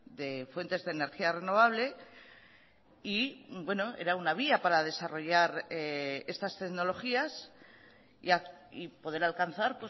de fuentes de energía renovable y era una vía para desarrollar estas tecnologías y poder alcanzar